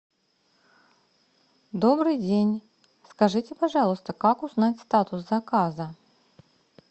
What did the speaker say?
добрый день скажите пожалуйста как узнать статус заказа